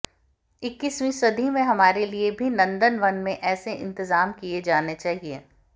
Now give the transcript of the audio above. इक्कीसवीं सदी में हमारे लिए भी नंदन वन में ऐसे इंतजाम किए जाने चाहिए